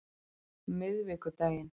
miðvikudaginn